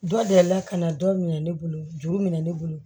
Dɔ deli la ka na dɔ minɛ ne bolo juru minɛ ne bolo